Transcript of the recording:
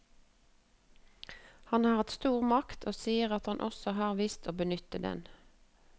Han har hatt stor makt, og sier at han også har visst å benytte den.